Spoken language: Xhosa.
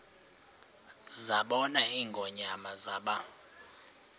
zabona ingonyama zaba